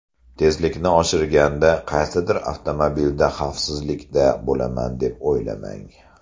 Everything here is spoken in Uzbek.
Tezlikni oshirganda qaysidir avtomobilda xavfsizlikda bo‘laman deb o‘ylamang.